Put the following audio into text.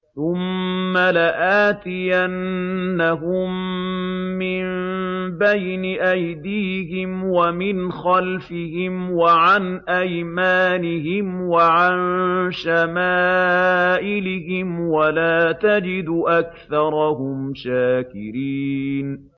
ثُمَّ لَآتِيَنَّهُم مِّن بَيْنِ أَيْدِيهِمْ وَمِنْ خَلْفِهِمْ وَعَنْ أَيْمَانِهِمْ وَعَن شَمَائِلِهِمْ ۖ وَلَا تَجِدُ أَكْثَرَهُمْ شَاكِرِينَ